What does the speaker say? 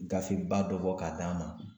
Gafe ba dɔ bɔ k'a d'an ma.